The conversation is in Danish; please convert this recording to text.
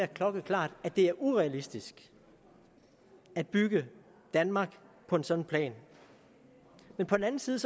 klokkeklart at det er urealistisk at bygge danmark på en sådan plan på den anden side